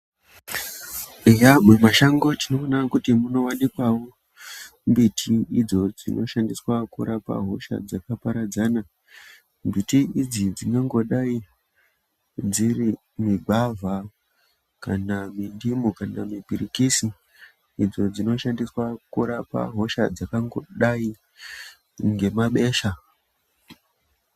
Eya mumashango tinoonawo kuti munowanikawo mbiti idzo dzinoshandiswa kurapa hosha dzakaparadzana mbiti idzi dzingangodai dziri migwavha kanamipirikisi kana mindimu idzo dzinoshandiswa kurapa hosha dzakangodai ngemabesha.